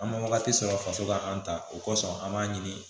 An ma wagati sɔrɔ faso ka an ta o kosɔn an b'a ɲini